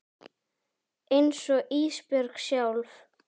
Einsog Ísbjörg sjálf.